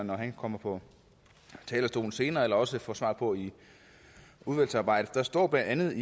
når han kommer på talerstolen senere eller også få svar på i udvalgsarbejdet der står blandt andet